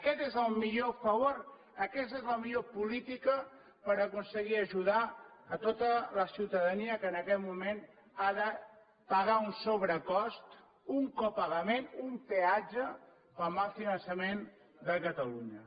aquest és el millor favor aquesta és la millor política per aconseguir ajudar a tota la ciutadania que en aquest moment ha de pagar un sobrecost un copagament un peatge pel mal finançament de catalunya